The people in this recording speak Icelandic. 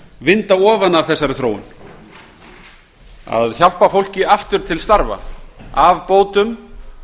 vinda ofan af þessari þróun að hjálpa fólki aftur til starfa af bótum